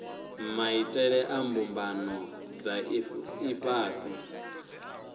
maitele a mbumbano dza ifhasi